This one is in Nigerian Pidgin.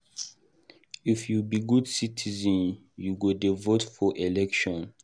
if you be good citizen, you go dey vote for election.